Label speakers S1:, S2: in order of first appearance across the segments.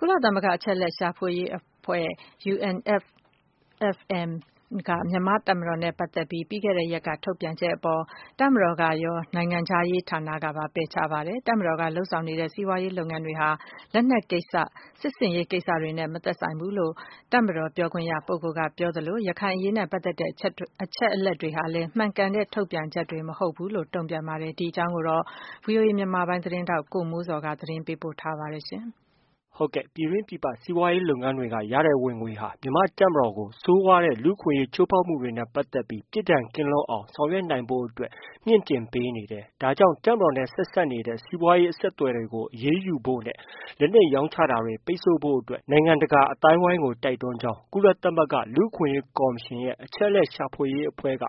S1: ကုလသမဂ္ဂ အချက်အလက်ရှာဖွေရေးအဖွဲ့ UNFFM က မြန်မာ့တပ်မတော်နဲ့ပတ်သက်ပြီး ပြီးခဲ့တဲ့ရက်က ထုတ်ပြန်ချက်အပေါ် တပ်မတော်ကရော၊ နိုင်ငံခြားရေးဌာနကပါ ပယ်ချပါတယ်။ တပ်မတော်က လုပ်ဆောင်နေတဲ့ စီးပွားရေးလုပ်ငန်းတွေဟာ လက်နက်ကိစ္စ၊ စစ်ဆင်ရေးကိစ္စတွေနဲ့ မသက်ဆိုင်ဘူးလို့ တပ်မတော် ပြောခွင့်ရပုဂ္ဂိုလ်ကပြောသလို ရခိုင်အရေးနဲ့ပတ်သက်တဲ့ အချက်တွေဟာလည်း မှန်ကန်တဲ့ ထုတ်ပြန်ချက်တွေမဟုတ်ဘူးလို့ တုံ့ပြန်ပါတယ်။ ဒီအကြောင်း ဗွီအိုအေ မြန်မာပိုင်းသတင်း ထောက် ကိုမိုးဇော်က သတင်းပေးပို့ထားပါတယ်။ ပြည်တွင်း၊ ပြည်ပ စီးပွားရေးလုပ်ငန်းတွေက ရတဲ့ဝင်ငွေတွေဟာ မြန်မာ့တပ်မတော်ကို ဆိုးဝါးတဲ့လူ့အခွင့်အရေးချိုးဖောက်မှုတွေနဲ့ ပတ်သက်ပြီး ပြစ်ဒဏ်ကင်းလွတ်အောင် ဆောင်ရွက်နိုင်ဖို့အတွက် မြှင့်တင်ပေးနေတယ်။ ဒါကြောင့်တပ်မတော်နဲ့ ဆက်စပ်နေတဲ့ စီးပွားရေးအဆက်အသွယ်တွေကို အရေးယူပိတ်ဆိုဖို့ နဲ့ လက်နက်ရောင်းချတာတွေ ပိတ်ဆို့ဖို့ အတွက် နိုင်ငံတကာအသိုင်းအဝိုင်းကို တိုက်တွန်းကြောင်း ကုလသမဂ္ဂ လူအခွင့်အရေးကော်မရှင်ရဲ့ အချက်အလက်ရှာဖွေရေးအဖွဲ့က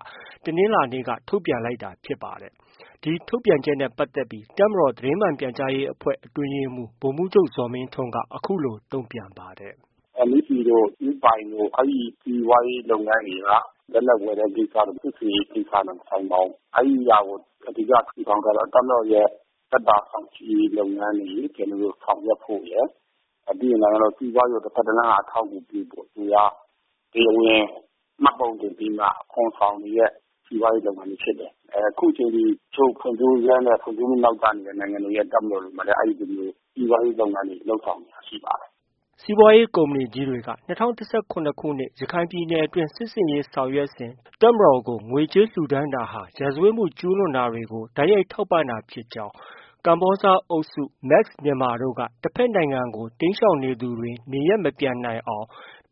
S1: တနင်္လာနေ့က ထုတ်ပြန်လိုက်တာဖြစ်ပါတယ်။ ဒီထုတ်ပြန်ချက်နဲ့ပတ်သက်ပြီး တပ်မတော်သတင်းမှန်ပြန်ကြားရေးအဖွဲ့ အတွင်းရေးမှူး ဗိုလ်မှူးချုပ် ဇော်မင်းထွန်းက အခုလို တုံပြန်ပါ
S2: တယ်။ “MEC တို့၊ ဦးပိုင်တို့ အဲဒီ စီးပွားရေးလုပ်ငန်းတွေက လက်နက်ဝယ်တဲ့ ကိစ္စတို့ စစ်ဆင်ရေးကိစ္စတို့နဲ့ မဆိုင်ပါဘူး။ အဲဒီဟာကို အဓိက ထူထောင်ထားတာ တပ်မတော်ရဲ့ သက်သာချောင်ချိရေးလုပ်ငန်းတွေ ဆောင်ရွက်ဖို့ရယ်၊ ပြီးရင် နိုင်ငံတော်စီးပွားရေးကို တစ်ဖက်တစ်လမ်းက အထောက်အကူပြုဖို့ ဒီဟာ တရားဝင်မှတ်ပုံတင်ပြီးမှ အခွန်ဆောင်နေတဲ့ စီးပွားရေးလုပ်ငန်းတွေဖြစ်တယ်။ အခုချိန်ထိ တချို့ ဖွံ့ဖြိုးပြီးနဲ့ ဖွံ့ဖြိုးဆဲ နိုင်ငံတွေမှာလည်း အဲလိုမျိုးတပ်မတော်ရဲ့ စီးပွားရေးလုပ်ငန်းတွေ လုပ်ဆောင်နေတာတွေ ရှိပါတယ်
S1: ။” စီးပွားရေးကုမ္ပဏီကြီးတွေက ၂၀၁၇ ခုနှစ် ရခိုင်ပြည်နယ်တွင်းစစ်ဆင်ရေးဆောင်ရွက်စဉ် တပ်မတော်ကို ငွေကြေးလှူဒါန်းတာဟာ ရာဇဝတ်မှုကျုးလွန်တာတွေကို တိုက်ရိုက် ထောက်ပံ့တာဖြစ်ကြောင်း၊ ကမ္ဘောဇ အုပ်စု KBZ နဲ့ Max Myanmar တဖက်နိုင်ငံကို တိမ်းရှောင်သူတွေ နေရပ်မပြန်နိုင်အောင်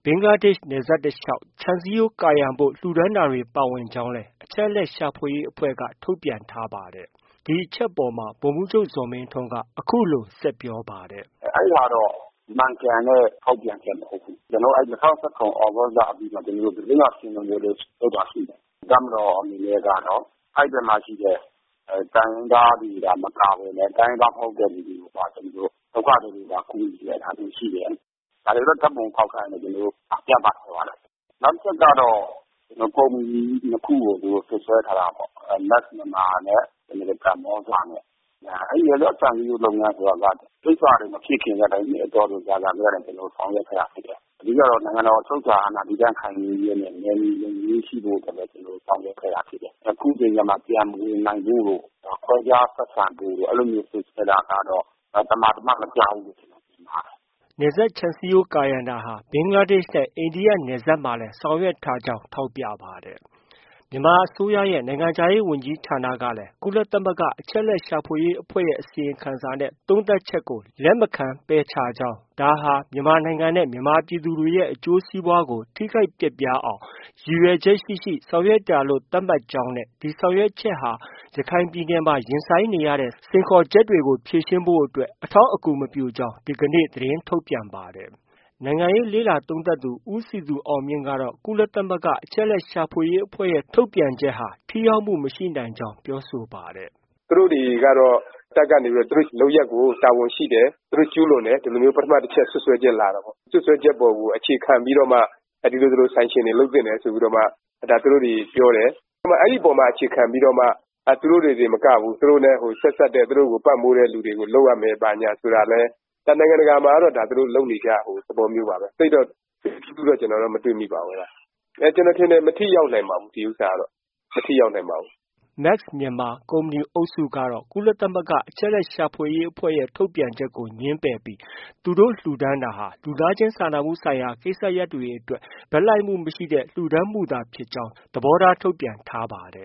S1: ဘင်္ဂလားဒေ့ရှ်နယ်စပ် တလျှောက်ခြံစည်းရိုးကာရံဖို့ လှူဒါန်းတာတွေ ပါဝင်ကြောင်း လည်း အချက်အလက်ရှာဖွေရေးအဖွဲ့က ထုတ်ပြန်ထားပါတယ်။ ဒီအချက်အပေါ်မှာ ဗိုလ်မှုးချုပ် ဇော်မင်းထွန်းက အခုလို ဆက်ပြောပါတယ်။
S2: “အဲဒီဟာတော့ မှန်ကန်တဲ့ ထုတ်ပြန်ချက်မဟုတ်ဘူး။ ကျနော်တို့ ၂၀၁၇ သြဂုတ်လ အပြီးမှာ သတင်းစာရှင်းလင်းပွဲလည်း လုပ်တာရှိတယ်။ တပ်မတော်အနေနဲ့ကတော့ အဲဒီဘက်မှာ ရှိတဲ့ တိုင်းရင်းသားတွေသာ မကဘဲနဲ့ တိုင်းရင်းသားမဟုတ်တဲ့ လူတွေကိုပါ ဒုက္ခသည်တွေပါ ကူညီခဲ့တာတွေ ရှိတယ်။ ဒါတွေတော့ ဓါတ်ပုံအထောက်အထားတွေနဲ့ ကျနေ်ာတို့ ပြသထားပါတယ်။ နောက်တစ်ချက်ကတော့ ကုမ္ပဏီကြီး ၂ခုကို သူတို့ စွပ်စွဲထားတာပေါ့။ Max Myanmar နဲ့ ကမ္ဘောဇနဲ့။ အဲဒီနယ်စပ်ခြံစည်းရိုးဆိုတာက ဒီကိစ္စတွေ မဖြစ်ခင်တည်းက နှစ်အတော်ကြာတည်းက ကျနော်တို့ ဆောင်ရွက်ခဲ့တာဖြစ်တယ်။ အဓိကကတော့ နိုင်ငံတော် အချုပ်အခြာအာဏာတည်တံခိုင်မြဲရေးနဲ့ နယ်မြေလုံခြုံရေးရှိဖို့ ကျနော်တို့ ဆောင်ရွက်ခဲ့တာဖြစ်တယ်။ အခုချိန်ကျမှ ပြန်မဝင်နိုင်ဖို့တို့၊ ခွဲခြားဆက်ဆံဖို့တို့ အဲလို စွပ်စွဲတာက သမာသမတ်မကျဘူးလို့ မြင်ပါတယ်။”
S1: နယ်စပ်ခြံစည်းရိုးကာရံတာဟာ ဘင်္ဂလားဒေ့ရှ်နဲ့ အိန္ဒိယနယ်စပ်မှာလည်း ဆောင်ရွက်ထားကြောင်း ထောက်ပြပါတယ်။ မြန်မာအစိုးရရဲ့ နိုင်ငံခြားရေးဝန်ကြီးဌာနကလည်း ကုလသမဂ္ဂ အချက်အလက်ရှာဖွေရေးအဖွဲ့ရဲ့ အစီရင်ခံစာနဲ့ သုံးသပ်ချက်ကို လက်မခံ ပယ်ချကြောင်း၊ ဒါဟာ မြန်မာနိုင်ငံနဲ့ မြန်မာပြည်သူတွေရဲ့ အကျိုးစီးပွားကို ထိခိုက်ပျက်ပြားအောင်ရည်ရွယ်ချက်ရှိရှိ ဆောင်ရွက်တာလို့ သတ်မှတ်ကြောင်း နဲ့ ဒီဆောင်ရွက်ချက်ဟာ ရခိုင်ပြည်နယ်မှာ ရင်ဆိုင်နေရတဲ့ စိန်ခေါ်ချက်တွေကို ဖြေရှင်းဖို့ အထောက်အကူမပြုကြောင်း ဒီကနေ့ သတင်းထုတ်ပြန်ပါတယ်။ နိုင်ငံရေးလေ့လာသုံးသပ်သူ ဦးစည်သူအောင်မြင့်ကတော့ ကုလသမဂ္ဂ အချက်အလက်ရှာဖွေရေးအဖွဲ့ရဲ့ ထုတ်ပြန်ချက်ဟာ ထိရောက်မှု မရှိနိုင်ကြောင်း ပြောဆိုပါတယ်။ “သူတိ
S3: ု့တွေကတော့ တပ်ကနေ သူတို့လုပ်ရပ်အပေါ် တာဝန်ရှိတယ်။ သူတို့ ကျူးလွန်တယ်။ ဒီလိုမျိုး ပထမအချက် စွပ်စွဲချက်လာတာပေါ့။ စွပ်စွဲချက်အပေါ် အခြေခံပြီးတော့မှ ဒီလို ဒီလို Sanction တွေ လုပ်သင့်တယ်ဆိုပြီးတော့မှ ပြောတယ်။ အဲဒီအပေါ်မှာ အခြေခံပြီးတော့မှ သူတို့နဲ့ ဆက်စပ်တဲ့ သူတို့ကို ပံပိုးတဲ့ လူတွေကို လုပ်ရမယ် ဘာညာဆိုတာလည်း ဒါ နိုင်ငံတကာမှာကတော့ သူတို့ လုပ်နေကျ သဘောမျိုးပါပဲ။ သိပ်တော့ ထွေထွေထူးထူးတော့ မတွေ့မိပါဘူး။ ကျနော်ထင်တယ် မထိရောက်နိုင်ပါဘူး။ ဒီဥစ္စာကတော့ မထိရောက်ပါဘူး
S1: ။ ” Max Myanmar ကုမ္ပဏီအုပ်စုကတော့ ကုလသမဂ္ဂ အချက်အလက်ရှာဖွေရေးအဖွဲ့ရဲ့ ထုတ်ပြန်ချက်ကို ငြင်းပယ်ပြီး သူတို့ လှုဒါန်းတာဟာ လူသားချင်းစာနာမှုဆိုင်ရာကိစ္စရပ်တွေအတွက် ဘက်လိုက်မှုမရှိတဲ့ လှူဒါန်းခဲ့တာဖြစ်ကြောင်း သဘောထား ထုတ်ပြန်ထားပါတ